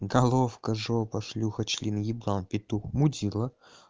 головка жопа шлюха член еблан петух мудило